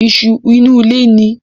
Isu inú ilé ni